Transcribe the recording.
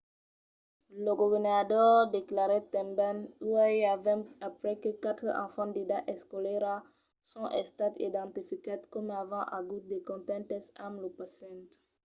lo governador declarèt tanben uèi avèm aprés que qualques enfants d'edat escolara son estats identificats coma avent agut de contactes amb lo pacient.